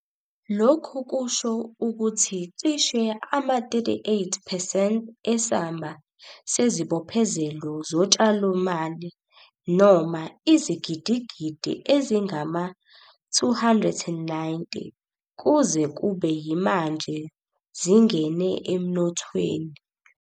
Lokhu kusho ukuthi cishe ama-38 percent esamba sezibophezelo zotshalomali - noma izigidigidi ezingama-R290 - kuze kube yimanje zingene emnothweni.